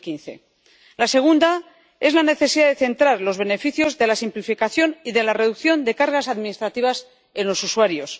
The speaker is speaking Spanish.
2015. La segunda es la necesidad de centrar los beneficios de la simplificación y de la reducción de cargas administrativas en los usuarios.